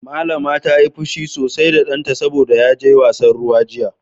Mallama ta yi fushi sosai da danta saboda ya je wasan ruwa jiya.